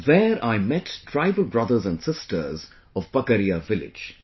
There I met tribal brothers and sisters of Pakaria village